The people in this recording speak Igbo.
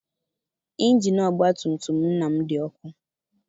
Injini ọgbatumtum nna m dị ọkụ.